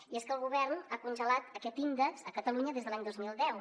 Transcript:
i és que el govern ha congelat aquest índex a catalunya des de l’any dos mil deu